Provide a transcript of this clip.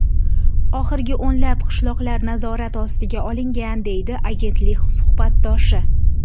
Oxirgi o‘nlab qishloqlar nazorat ostiga olingan”, deydi agentlik suhbatdoshi.